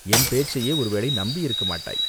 என் பேச்சையே ஒருவேளை நம்பியிருக்கமாட்டாய்.